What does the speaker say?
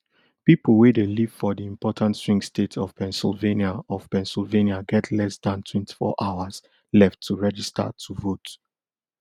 pipo wey dey live for di important swing state of pennsylvania of pennsylvania get less dan twenty-four hours left to register to vote